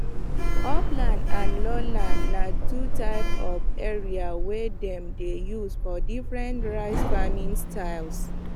upland and lowland na two types of area wey dem dey use for different rice farming styles